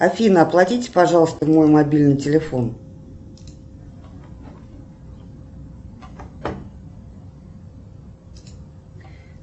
афина оплатите пожалуйста мой мобильный телефон